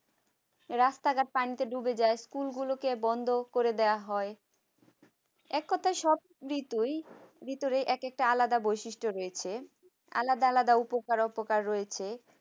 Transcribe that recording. রাস্তা ঘাট পানিতে ডুবে যায় school গুলোকে বন্ধ করে দেওয়া হয় এক কথায় সব ঋতুই ভিতরে এক একটা আলাদা বৈশিষ্ট্য রয়েছে। আলাদা আলাদা উপকার অপকার রয়েছে।